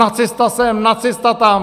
Nacista sem, nacista tam!